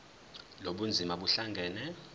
lobu bunzima buhlangane